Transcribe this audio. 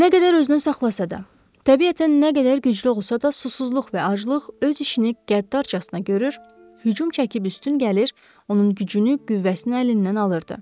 Nə qədər özünü saxlasa da, təbiətən nə qədər güclü olsa da, susuzluq və aclıq öz işini qəddarcasına görür, hücum çəkib üstün gəlir, onun gücünü, qüvvəsini əlindən alırdı.